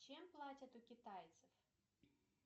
чем платят у китайцев